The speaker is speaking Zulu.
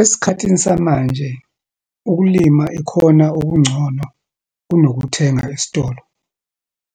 Esikhathini samanje, ukulima ikhona okungcono kunokuthenga esitolo,